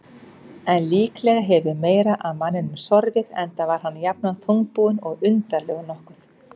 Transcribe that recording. En líklega hefur fleira að manninum sorfið, enda var hann jafnan þungbúinn og undarlegur nokkuð.